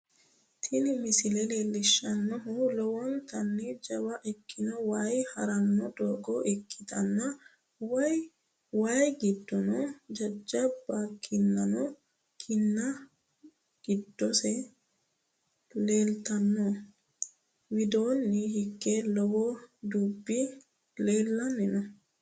Tini misile leellishshannohu lowontanni jawa ikkino waay haranno doogo ikkitanna wayi giddono jajjabba ikkitino kinna giddose leeltanno, widoonni higeno lowo dubbi leellanni no.